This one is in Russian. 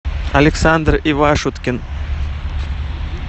александр ивашуткин